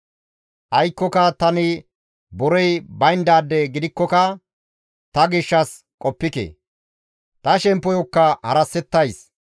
«Aykkoka tani borey bayndaade gidikkoka ta gishshas qoppike; ta shemppoyokka harassetays.